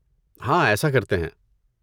ہاں، ایسا کرتے ہیں۔